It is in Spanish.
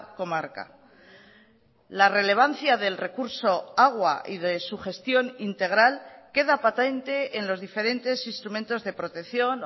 comarca la relevancia del recurso agua y de su gestión integral queda patente en los diferentes instrumentos de protección